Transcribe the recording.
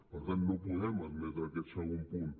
per tant no podem admetre aquest segon punt